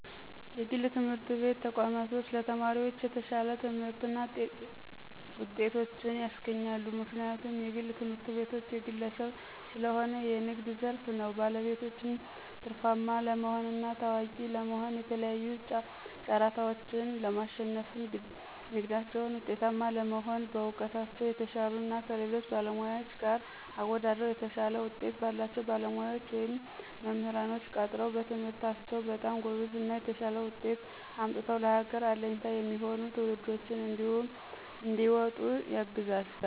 የግል ትምህርት ቤት ተቋማቶች ለተማሪዎች የተሻለ ትምህርትና ጤቶችን ያስገኛሉ። ምክንያቱም የግል ትምህርትቤቶች የግለሰብ ሰለሆነ የንግድ ዘርፍ ነው ባለቤቶችም ትርፋማ ለመሆንና ታዋቂ ለመሆ የተለያዩ ጫራታዎችን ለማሽነፍና ንግዳቸው ውጤታማ ለመሆን በእውቀታቸው የተሻሉ እና ከሌሎች ባለሙያዎች ጋር አወደድረው የተሻለ ውጤት ባላቸው ባለሙያዎች ወይም መምራንኖች ቀጥረው በትምህርታቸው በጣም ጎበዝ እና የተሻለ ውጤት አምጥተው ለሀገር አለኝታ የሚሆኑ ትውልዶችንም እንዲወጡ ያግዛል።